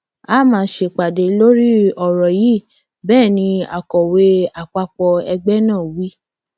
a máa ṣèpàdé lórí ọrọ yìí bẹẹ ni akọwé àpapọ ẹgbẹ náà wí